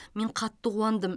мен қатты қуандым